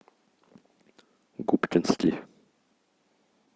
губкинский